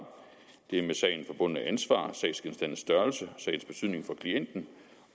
det med sagen forbundne ansvar sagsgenstandens størrelse sagens betydning for klienten